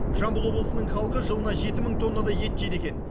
жамбыл облысының халқы жылына жеті мың тоннадай ет жейді екен